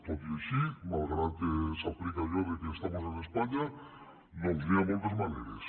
tot i així malgrat que s’aplica allò d’ estamos en españa doncs hi ha moltes maneres